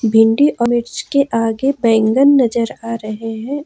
भिंडी अनुज के आगे बैंगन नजर आ रहे हैं।